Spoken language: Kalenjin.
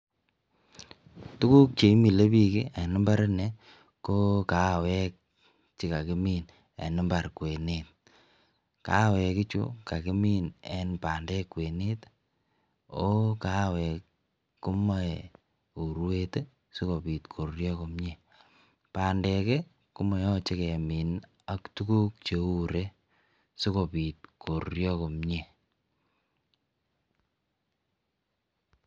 Tuguk cheimilebik en imbar in ko kawek chekakimin en imbar kwenet kawek ichu kakimin en bandek kwenet ako kawek chuton kemache korurio ,bandek kimache kemin AK tuguk cheure sikobit korurio komie